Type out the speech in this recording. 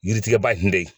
Yiri tigɛba in de ye